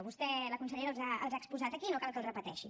vostè la consellera els ha exposat aquí no cal que els repeteixi